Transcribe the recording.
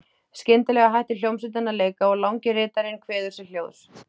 Skyndilega hættir hljómsveitin að leika og langi ritarinn kveður sér hljóðs.